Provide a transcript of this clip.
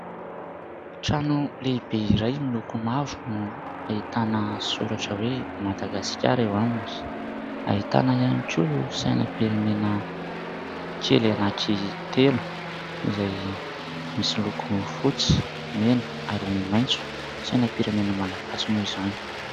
Trano lehibe iray miloko mavo no ahitana soratra hoe "Madagasikara" eo aminy, ahitana ihany koa sainam-pirenena kely anankitelo izay misy loko fotsy, mena ary maitso, sainam-pirenena malagasy moa izany.